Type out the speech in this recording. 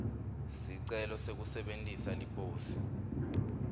sicelo sekusebentisa liposi